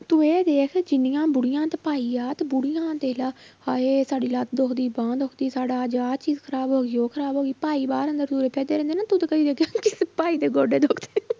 ਤੂੰ ਇਹ ਦੇਖ ਜਿੰਨੀਆਂ ਬੁੜੀਆਂ ਤੇ ਭਾਈ ਆ, ਤੇ ਬੁੜੀਆਂ ਦੇਖ ਲਾ ਹਾਏ ਸਾਡੀ ਲੱਤ ਦੁਖਦੀ, ਬਾਂਹ ਦੁਖਦੀ, ਸਾਡਾ ਅੱਜ ਆਹ ਚੀਜ਼ ਖ਼ਰਾਬ ਹੋ ਗਈ ਉਹ ਖ਼ਰਾਬ ਹੋ ਗਈ, ਭਾਈ ਬਾਹਰ ਅੰਦਰ ਤੁਰੇ ਫਿਰਦੇ ਰਹਿੰਦੇ ਤਾਂ ਭਾਈ ਦੇ ਗੋਡੇ ਦੁਖਦੇ